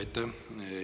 Aitäh!